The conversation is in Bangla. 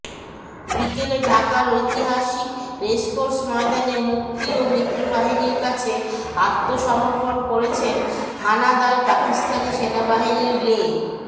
বিকেলে ঢাকার ঐতিহাসিক রেসকোর্স ময়দানে মুক্তি ও মিত্রবাহিনীর কাছে আত্মসমর্পণ করেছেন হানাদার পাকিস্তানি সেনাবাহিনীর লে